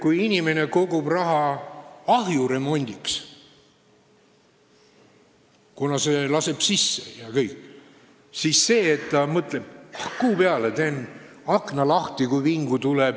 Kui inimene kogub raha ahju remondiks, kuna see ajab suitsu sisse, siis ma ei usu, et ta mõtleb: "Ah, kuu peale, teen akna lahti, kui vingu tuleb!